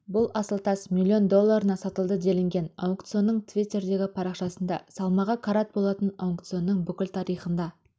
бұл асыл тас миллион долларына сатылды делінген аукционның твиттердегі парақшасында салмағы карат болатын аукционның бүкіл тарихында